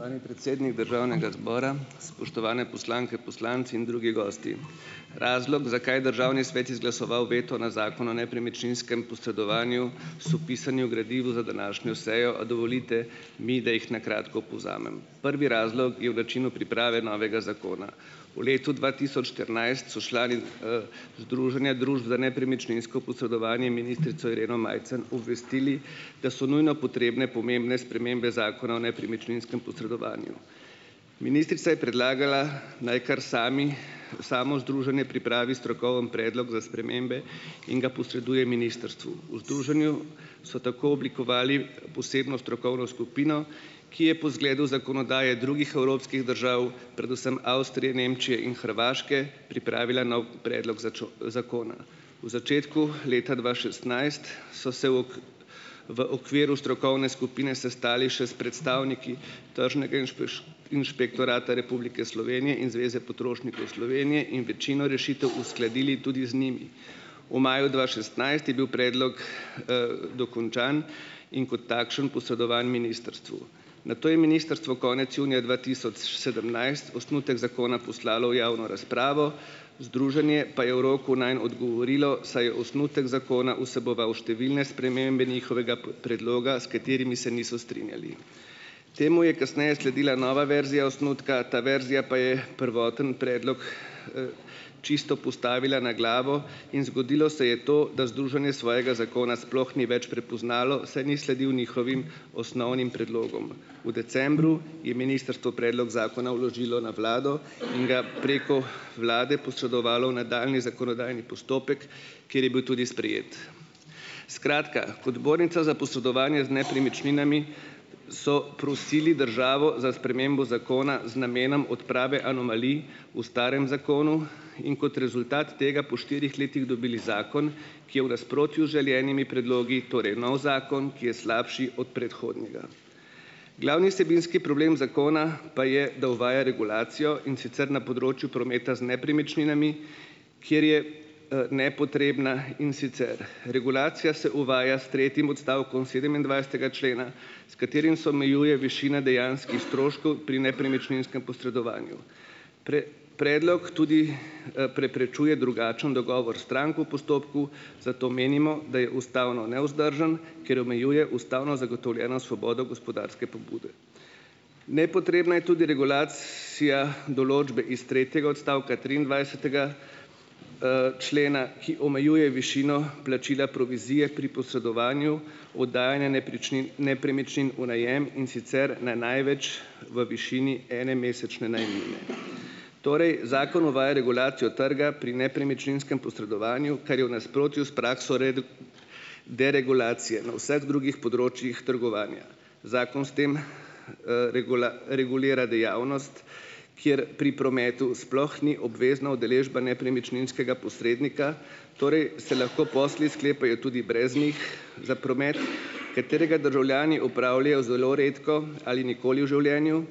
Spoštovani predsednik državnega zbora, spoštovane poslanke, poslanci in drugi gosti! Razlog, zakaj državni svet izglasoval veto na Zakon o nepremičninskem posredovanju, so opisani v gradivu za današnjo sejo, a dovolite mi, da jih na kratko povzamem. Prvi razlog je v načinu priprave novega zakona. V letu dva tisoč štirinajst so člani, Združenja družb za nepremičninsko posredovanje ministrico Ireno Majcen obvestili, da so nujno potrebne pomembne spremembe Zakona o nepremičninskem posredovanju. Ministrica je predlagala, naj kar sami, samo združenje pripravi strokovni predlog za spremembe in ga posreduje ministrstvu. V združenju so tako oblikovali posebno strokovno skupino, ki je po zgledu zakonodaje drugih evropskih držav, predvsem Avstrije, Nemčije in Hrvaške, pripravila nov predlog zakona. V začetku leta dva šestnajst so se v v okviru strokovne skupine sestali še s predstavniki Tržnega inšpektorata Republike Slovenije in Zveze potrošnikov Slovenije in večino rešitev uskladili tudi z njimi. V maju dva šestnajst je bil predlog dokončan in kot takšen posredovan ministrstvu. Nato je ministrstvo konec junija dva tisoč sedemnajst osnutek zakona poslalo v javno razpravo, združenje pa je v roku nanj odgovorilo, saj je osnutek zakona vseboval številne spremembe njihovega predloga, s katerimi se niso strinjali. Temu je kasneje sledila nova verzija osnutka, ta verzija pa je prvoten predlog čisto postavila na glavo in zgodilo se je to, da združenje svojega zakona sploh ni več prepoznalo, saj ni sledil njihovim osnovnim predlogom. V decembru je ministrstvo predlog zakona vložilo na vlado in ga preko vlade posredovalo v nadaljnji zakonodajni postopek, kjer je bil tudi sprejet. Skratka, kot zbornica za posredovanje z nepremičninami so prosili državo za spremembo zakona z namenom odprave anomalij v starem zakonu in kot rezultat tega po štirih letih dobili zakon, ki je v nasprotju z želenimi predlogi, torej nov zakon, ki je slabši od predhodnega. Glavni vsebinski problem zakona pa je, da uvaja regulacijo, in sicer na področju prometa z nepremičninami, kjer je, nepotrebna, in sicer regulacija se uvaja s tretjim odstavkom sedemindvajsetega člena, s katerim se omejuje višina dejanskih stroškov pri nepremičninskem posredovanju. Predlog tudi, preprečuje drugačen dogovor strank v postopku, zato menimo, da je ustavno nevzdržen, ker omejuje ustavno zagotovljeno svobodo gospodarske pobude. Nepotrebna je tudi regulacija določbe iz tretjega odstavka triindvajsetega člena, ki omejuje višino plačila provizije pri posredovanju oddajanja nepričnin nepremičnin v najem, in sicer na največ v višini ene mesečne najemnine. Torej, zakon uvaja regulacijo trga pri nepremičninskem posredovanju, kar je v nasprotju s prakso deregulacije na vseh drugih področjih trgovanja. Zakon s tem regulira dejavnost, kjer pri prometu sploh ni obvezna udeležba nepremičninskega posrednika, torej se lahko posli sklepajo tudi brez njih, za promet, katerega državljani opravljajo zelo redko ali nikoli v življenju.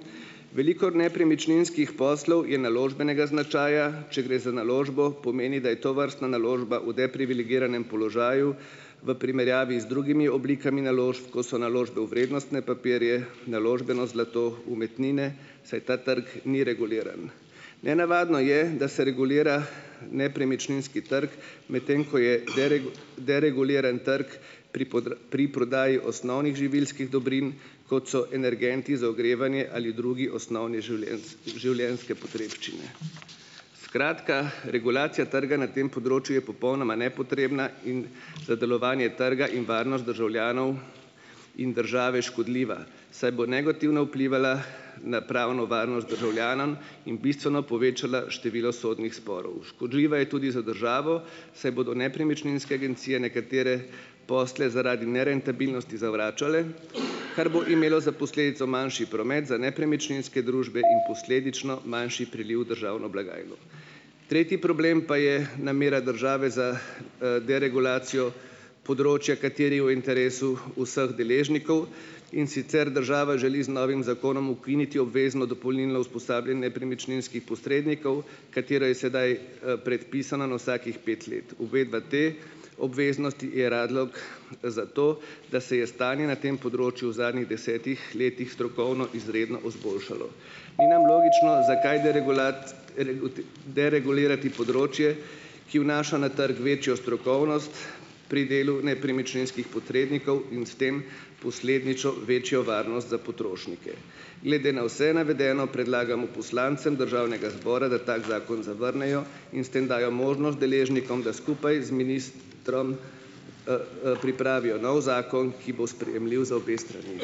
Veliko nepremičninskih poslov je naložbenega značaja, če gre za naložbo pomeni, da je tovrstna naložba v deprivilegiranem položaju v primerjavi z drugimi oblikami naložb, ko so naložbe v vrednostne papirje, naložbeno zlato, umetnine saj ta trg ni reguliran. Nenavadno je, da se regulira nepremičninski trg, medtem ko je dereguliran trg pri pri prodaji osnovnih živilskih dobrin, kot so energenti za ogrevanje ali druge osnovne življenjske potrebščine. Skratka, regulacija trga na tem področju je popolnoma nepotrebna in za delovanje trga in varnost državljanov in države škodljiva, saj bo negativno vplivala na pravno varnost državljanov in bistveno povečala število sodnih sporov. Škodljiva je tudi za državo, saj bodo nepremičninske agencije nekatere posle zaradi nerentabilnosti zavračale, kar bo imelo za posledico manjši promet za nepremičninske družbe in posledično manjši priliv v državno blagajno. Tretji problem pa je namera države za, deregulacijo področja, kateri je v interesu vseh deležnikov. In sicer, država želi z novim zakonom ukiniti obvezno dopolnilno usposabljanje nepremičninskih posrednikov, katero je sedaj, predpisano na vsakih pet let. Uvedba te obveznosti je razlog za to, da se je stanje na tem področju v zadnjih desetih letih strokovno izredno izboljšalo. Ni nam logično, zakaj deregulirati področje, ki vnaša na trg večjo strokovnost pri delu nepremičninskih posrednikov in s tem posledično večjo varnost za potrošnike. Glede na vse navedeno predlagamo poslancem državnega zbora, da tako zakon zavrnejo in s tem dajo možnost deležnikom, da skupaj z ministrom, pripravijo nov zakon, ki bo sprejemljiv za obe strani.